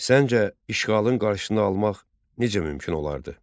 Səncə, işğalın qarşısını almaq necə mümkün olardı?